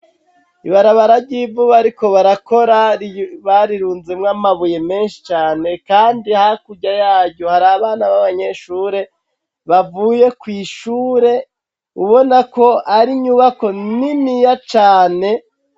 Ibarabara ry'ivu baariko barakora barirunzemwo amabuye menshi cane kandi hakurya yayo hari abana b'abanyeshure bavuye kw'ishure ubona ko ari nyubako niniya cane.